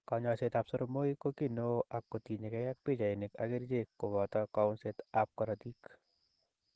Kanyoiset ab soromoik ko ki neo ak kotinyekei ak pichainik ak kerichek. koboto kaunset ab karotik.